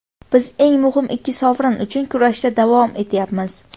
Biz eng muhim ikki sovrin uchun kurashda davom etyapmiz.